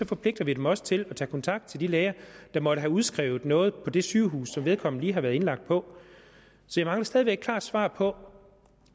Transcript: forpligter vi dem også til at tage kontakt til de læger der måtte have udskrevet noget på det sygehus som vedkommende lige har været indlagt på jeg mangler stadig væk et klart svar på